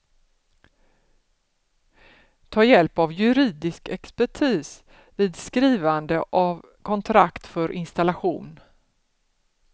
Ta hjälp av juridisk expertis vid skrivande av kontrakt för installation.